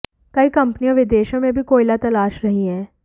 कई कंपनियां विदेशों में भी कोयला तलाश रही हैं